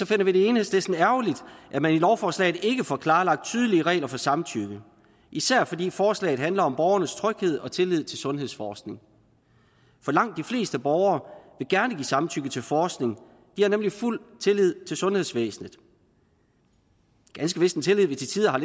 finder vi det i enhedslisten ærgerligt at man i lovforslaget ikke får klarlagt tydelige regler for samtykke især fordi forslaget handler om borgernes tryghed og tillid til sundhedsforskning for langt de fleste borgere vil gerne give samtykke til forskning de har nemlig fuld tillid til sundhedsvæsenet ganske vist en tillid det til tider har